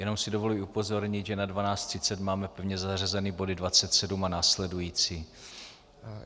Jenom si dovoluji upozornit, že na 12.30 máme pevně zařazeny body 27 a následující.